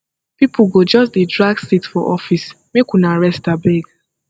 pipo go just dey drag seat for office make una rest abeg